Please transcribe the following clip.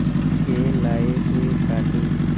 के लाए हुए काले